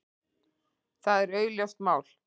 Það er augljóst mál.